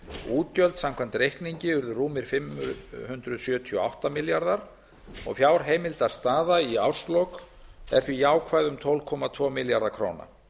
útgjöld samkvæmt reikningi urðu rúmir fimm hundruð sjötíu og átta milljarðar og fjárheimildastaða í árslok er því jákvæð um tólf komma tvo milljarða króna